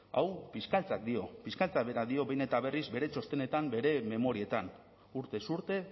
hau fiskaltzak dio fiskaltzak berak dio behin eta berriz bere txostenetan bere memorietan urtez urte